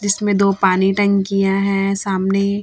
जिसमें दो पानी टंकियां हैं सामने--